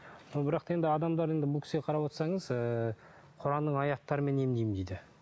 но бірақ та енді адамдар енді бұл кісіге қарап отырсаңыз ыыы құранның аяттарымен емдеймін дейді